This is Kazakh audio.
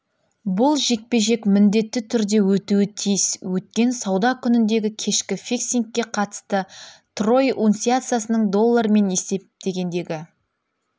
бұл жекпе-жек міндетті түрде өтуі тиіс өткен сауда күніндегі кешкі фиксингке қатысты трой унциясының доллармен есептегендегі